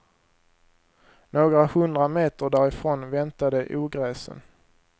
Några hundra meter därifrån väntade ogräsen.